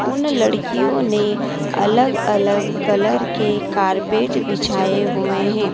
उन लड़कियों ने अलग अलग कलर के कारपेट बिछाए हुए हैं।